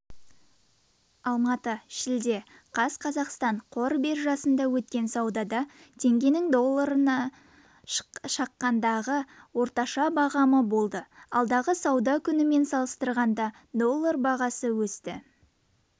алматы шілде қаз қазақстан қор биржасында өткен саудада теңгенің долларына шаққандағы орташа бағамы болды алдыңғы сауда күнімен салыстырғанда доллар бағасы өсті